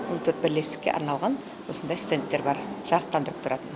он төрт бірлестікке арналған осындай стендтер бар жарықтандырып тұрады